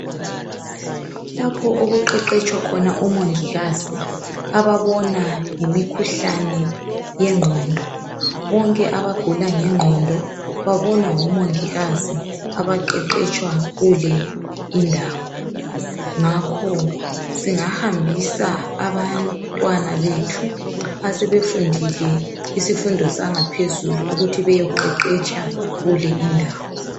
Lapho okuqeqetshwa khona omongikazi ababona ngemikhuhlane yengqondo. Bonke abagula ngengqondo babonwa ngomongikazi abaqeqetshwa kule indawo ngakho singahambisa abantwana bethu asebefundile izifundo zangaphezulu ukuthi beyeqeqetsha kule indawo.